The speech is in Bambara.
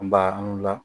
An ba an wula